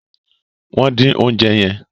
wón din oúnjẹ yen.